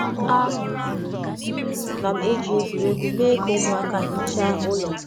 A na m etinye ụmụaka um n’ọrụ site n’egwuregwu ka ime ụlọ dị ọcha maa mma dị ka ihe um ịma aka.